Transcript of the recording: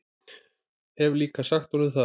Hef líka sagt honum það.